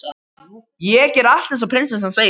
Ég geri allt eins og prinsessan segir.